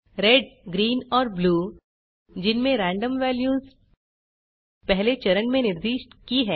red greenऔर blue जिनमें random values पहले चरण में निर्दिष्ट की हैं